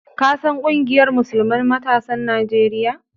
Ka san ƙungiyar Musulman matasan Najeriya?